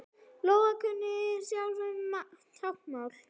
Lóa: Kunnið þið sjálfir táknmál?